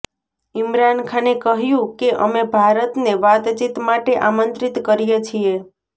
ઈમરાન ખાને કહ્યુ કે અમે ભારતને વાતચીત માટે આમંત્રિત કરીએ છીએ